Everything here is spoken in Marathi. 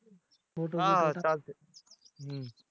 चालतंय हम्म